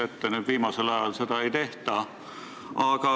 Nüüd viimasel ajal seda ei tehta.